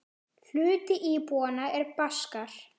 Hluti íbúanna er Baskar.